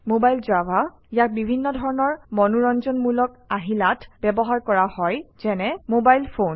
Mobile Java ইয়াক বিভিন্ন ধৰণৰ মনোৰঞ্জনমূলক আহিলাত ব্যৱহাৰ কৰা হয় যেনে - মোবাইল ফোন